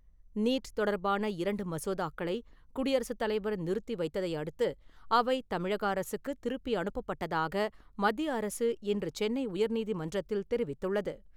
NEET தொடர்பான இரண்டு மசோதாக்களை, குடியரசுத் தலைவர் நிறுத்தி வைத்ததை அடுத்து, அவை தமிழக அரசுக்கு திருப்பி அனுப்பப்பட்டதாக மத்திய அரசு இன்று சென்னை உயர்நீதிமன்றத்தில் தெரிவித்துள்ளது.